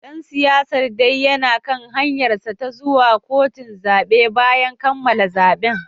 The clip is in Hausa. Dan siyasar dai yana kan hanyarsa ta zuwa kotun zabe bayan kammala zaben